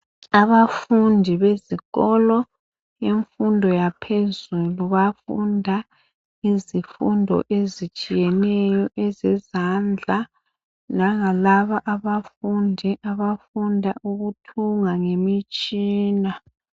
Abafundi bezikolo, imfundo yaphezulu bayafunda izifundo ezitshiyeneyo ezezandla langalabo abafundi abafunda ukuthunga ngemitshina.